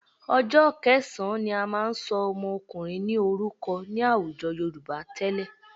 Ọjọ́ kẹsàn-án ni a máa ń ṣọ ọmọkùnrin ní orúkọ ní àwùjọ Yorùbá tẹ́lẹ̀